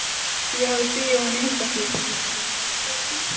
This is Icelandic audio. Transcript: Ég hafði stigið ofan í hundaskít.